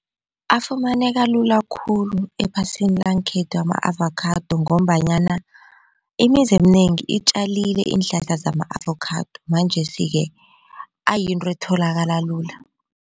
Afumaneka lula khulu ephasini langekhethu ama-avakhado ngombanyana imizi eminengi itjalile iinhlahla zama-avokhado manjesike ayinto etholakala lula.